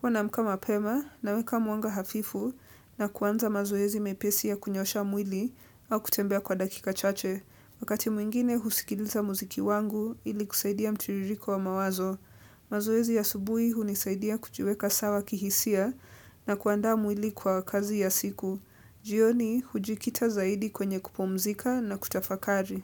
Huwa naamka mapema na weka mwanga hafifu na kuanza mazoezi mepesi ya kunyoosha mwili au kutembea kwa dakika chache. Wakati mwingine husikiliza muziki wangu ili kusaidia mtiiririko wa mawazo. Mazoezi ya asubuhi hunisaidia kujiweka sawa kihisia na kuandaa mwili kwa kazi ya siku. Jioni hujikita zaidi kwenye kupumzika na kutafakari.